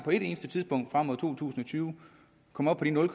på et eneste tidspunkt frem mod to tusind og tyve kommer op på de nul